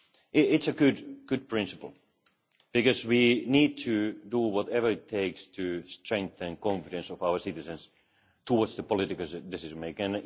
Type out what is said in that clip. It is a good principle, because we need to do whatever it takes to strengthen the confidence of our citizens towards the political decision